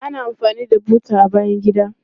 Ana amfani da buta a bayan gida.